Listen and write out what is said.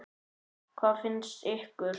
Hvað finnst ykkur?